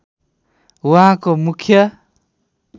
उहाँको मुख्य